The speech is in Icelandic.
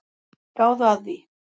Gáðu að því.